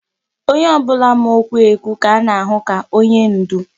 Onye ọ bụla ma okwu ekwu ka a na-ahụ ka onye ndú.